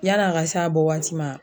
Yan'a ka s'a bɔ waati ma